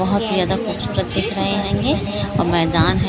बहुत ही जादा खुब सूरत दिख रहे हें ये और मैदान है।